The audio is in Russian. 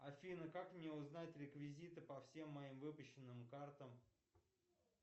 афина как мне узнать реквизиты по всем моим выпущенным картам